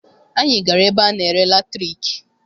Anyị gara ebe ana-ere latriki.